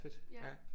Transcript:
Fedt ja